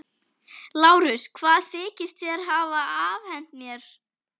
LÁRUS: Hvað þykist þér hafa afhent mér?